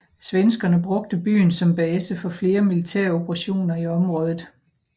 Svenskerne brugte byen som base for flere militære operationer i området